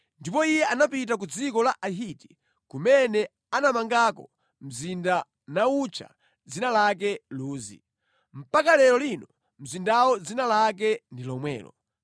Ndipo iye anapita ku dziko la Ahiti, kumene anamangako mzinda nawutcha dzina lake Luzi. Mpaka lero lino mzindawo dzina lake ndi lomwelo.